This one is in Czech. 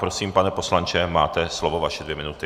Prosím, pane poslanče, máte slovo, vaše dvě minuty.